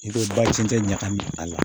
I ko baasi tɛ ɲagami a la